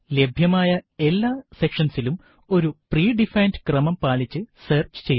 ലഭ്യമായ എല്ലാ സെക്ഷന്സിലും ഒരു pre ഡിഫൈൻഡ് ക്രമം പാലിച്ചു സെർച്ച് ചെയ്യുക